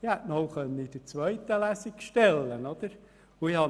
Man hätte auch in der zweiten Lesung einen Eventualantrag stellen können.